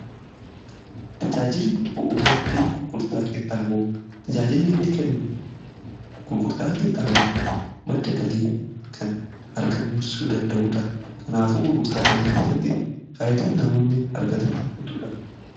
Tajaajili bu'uura fi tajaajilli inni kennu gurgurtaa qinxaaboo madda galii kan argamsiisuu danda'uudha. Kanaafuu gurgurtaa kana keessatti faayyidaa namoonni argatan hedduudha.